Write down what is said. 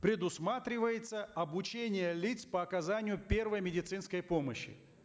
предусматривается обучение лиц по оказанию первой медицинской помощи